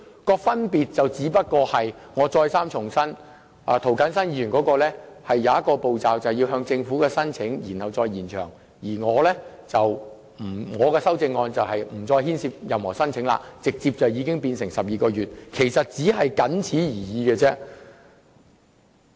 我重申，當中的分別只在於涂謹申議員的修正案多了一個向政府申請延長期限的步驟，而我的修正案則建議無須申請，直接將寬限期延長至12個月。